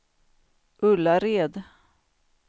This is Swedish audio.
Ullared